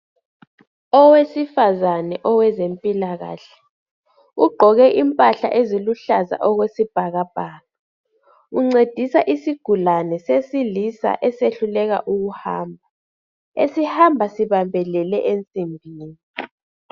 Owesifazane owezempilakahle ugqoke impahla eziluhlaza okwesibhakabhaka, uncedisa isigulane sesilisa esehluleka ukuhmba, esihamba sibambelele ensimbini.